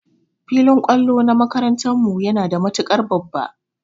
Filin kwallo na makarantan mu yana da matukar babba.